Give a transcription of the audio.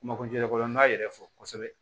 Makojɔlan b'a yɛrɛ fɔ kosɛbɛ